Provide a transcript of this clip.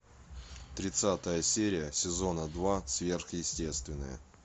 тридцатая серия сезона два сверхъестественное